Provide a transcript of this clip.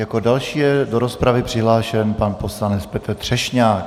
Jako další je do rozpravy přihlášen pan poslanec Petr Třešňák.